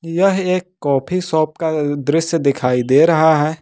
यह एक coffee shop का दृश्य दिखाई दे रहा है।